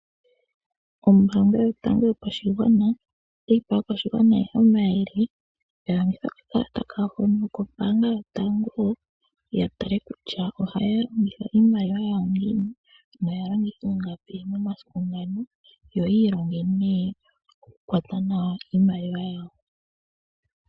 Ombaanga yotango yopashigwana otayi pe aakwashigwana omayele ya longithe okakalata kawo hono kombaanga yotango, ya tale kutya ohaya longitha iimaliwa yawo ngiini noya longitha ingapi momasiku ngano. Yo ya ilonge nee okukwata nawa iimaliwa yawo.